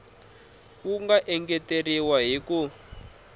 wu nga engeteriwa hi ku